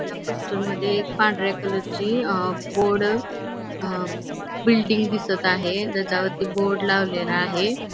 ह्या पोस्टर मध्ये एक पांढऱ्या कलरची अंह बोर्ड अंह बिल्डिंग दिसत आहे. ज्याच्या वरती बोर्ड लावलेला आहे.